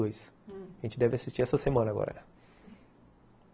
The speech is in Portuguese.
A gente deve assistir essa semana agora.